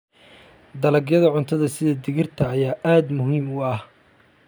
Dalagyada cuntada sida digirta ayaa aad muhiim u ah.